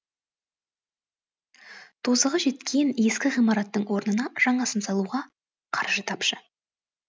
тозығы жеткен ескі ғимараттың орнына жаңасын салуға қаржы тапшы